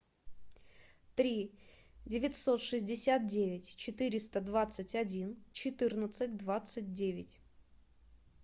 три девятьсот шестьдесят девять четыреста двадцать один четырнадцать двадцать девять